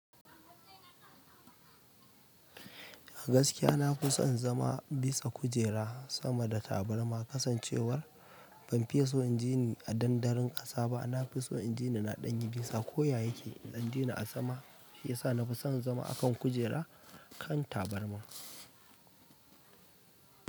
A gaskiya na fi son zama bisa kujera sama da tabarma kasancewar ban fiye so in jini a dandaron ƙasa ba. Na fi so in jini na ɗanyi bisa. Ko ya yake in jini a sama shi ya sa na fi son zama a kan kujera kan tabarma.